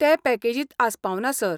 तें पॅकेजींत आस्पावना, सर.